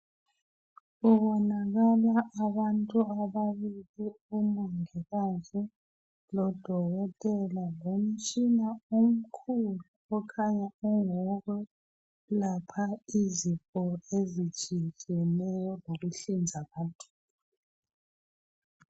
Kubonakala abantu ababili, umongikazi lodokoktela lomtshina omkhulu okhanya ungowokulapha izifo ezitshiyetshiyeneyo lokuhlinza abantu